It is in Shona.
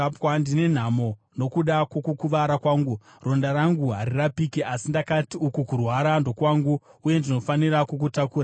Ndine nhamo nokuda kwokukuvara kwangu! Ronda rangu harirapiki! Asi ndakati, “Uku kurwara ndokwangu, uye ndinofanira kukutakura.”